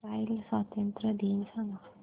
Israel स्वातंत्र्य दिन सांग